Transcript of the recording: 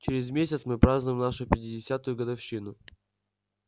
через месяц мы празднуем нашу пятидесятую годовщину